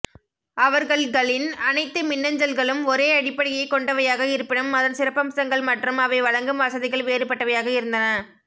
அவர்கள்களின் அனைத்து மின்னஞ்சல்களும் ஒரே அடிப்படையை கொண்டவையாக இருப்பினும் அதன் சிறப்பம்சங்கள் மற்றும் அவை வழங்கும் வசதிகள் வேறுபட்டவையாக இருந்தன